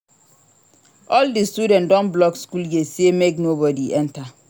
All di students don block skool gate sey make nobodi enta.